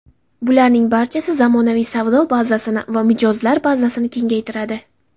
Bularning barchasi zamonaviy savdo bazasini va mijozlar bazasini kengaytiradi.